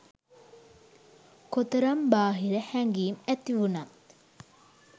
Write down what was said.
කොතරම් බාහිර හැඟිම් ඇතිවුනත්